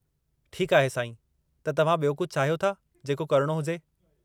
ठीकु आहे साईं, छा तव्हां ॿियो कुझु चाहियो था जेको करणो हुजे?